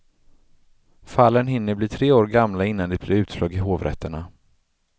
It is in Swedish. Fallen hinner bli tre år gamla innan det blir utslag i hovrätterna.